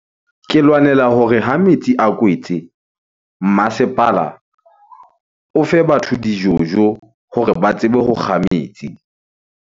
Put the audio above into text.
Ke lwanela hore ha metsi a kwetse, mmasepala o fe batho dijojo hore ba tsebe ho kga metsi.